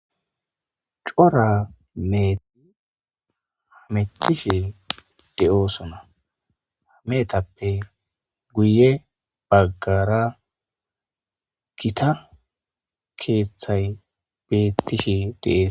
Cora meeti hamettishe de'oosona hameetappe guye baggara gita keeththay bettishe dees.